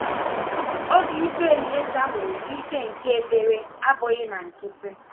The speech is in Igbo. Obi ike Elieza nwere n’ike nke ekpere abụghị na nkịtị.